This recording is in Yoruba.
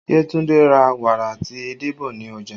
Yetunde ra wàrà àti edé bọ̀ ní ọjà